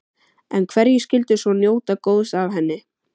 En hverjir skyldu svo njóta góðs af henni?